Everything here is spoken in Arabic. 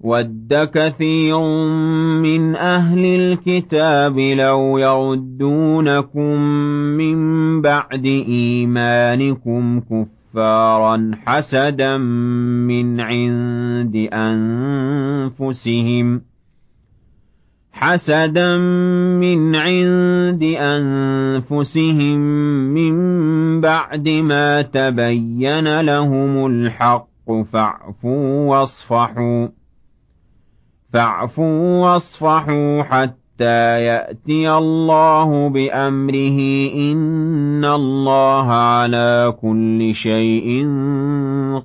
وَدَّ كَثِيرٌ مِّنْ أَهْلِ الْكِتَابِ لَوْ يَرُدُّونَكُم مِّن بَعْدِ إِيمَانِكُمْ كُفَّارًا حَسَدًا مِّنْ عِندِ أَنفُسِهِم مِّن بَعْدِ مَا تَبَيَّنَ لَهُمُ الْحَقُّ ۖ فَاعْفُوا وَاصْفَحُوا حَتَّىٰ يَأْتِيَ اللَّهُ بِأَمْرِهِ ۗ إِنَّ اللَّهَ عَلَىٰ كُلِّ شَيْءٍ